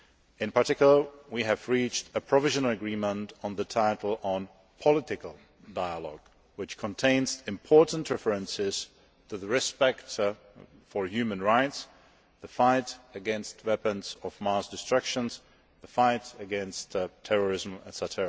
In particular, we have reached a provisional agreement on the title on political dialogue, which contains important references to respect for human rights, the fight against weapons of mass destruction, the fight against terrorism, etc.